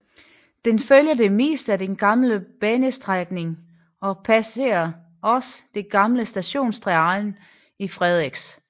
Den følger det meste af den gamle banestrækning og passerer også det gamle stationsterræn i Frederiks